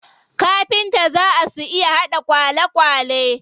Kafinta zaa su iya haɗa kwalekwale.